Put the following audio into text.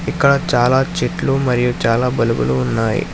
ఇక్కడ చాలా చెట్లు మరియు చాలా బల్బులు ఉన్నాయి.